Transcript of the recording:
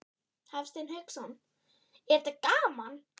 Hafsteinn Hauksson: Er þetta gaman?